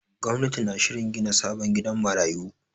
Gwamnati na shirin gina sabon gidan marayu.